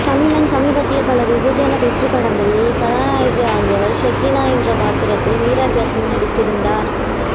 தமிழின் சமீபத்திய பல வெகுஜன வெற்றிப்படங்களின் நாயகியாவர் சகீனா என்ற பாத்திரத்தில் மீரா ஜாஸ்மின் நடித்திருந்தார்